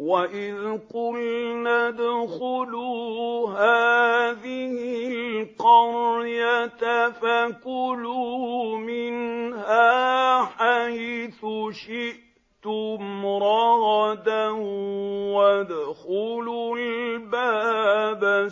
وَإِذْ قُلْنَا ادْخُلُوا هَٰذِهِ الْقَرْيَةَ فَكُلُوا مِنْهَا حَيْثُ شِئْتُمْ رَغَدًا وَادْخُلُوا الْبَابَ